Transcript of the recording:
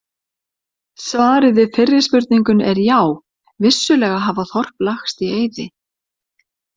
Svarið við fyrri spurningunni er já, vissulega hafa þorp lagst í eyði.